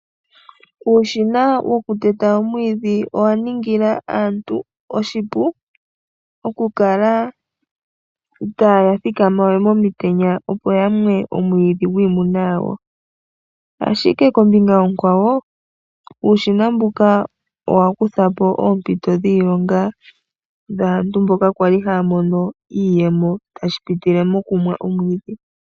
Uushina wokuteta omwiidhi owaningila aantu oshipu, okukala itaya thikamawe momitenya opo yamwe omwiidhi gwiimuna yawo, ashike kombinga onkwawo uushina mbuka owa kuthapo oompito dhiilonga dhaantu mboka kwali haa mono iiyemo tashi pitile mokumwa omwiidhi.